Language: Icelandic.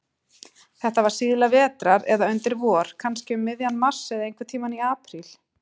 Þetta var síðla vetrar eða undir vor, kannski um miðjan mars, eða einhverntíma í apríl.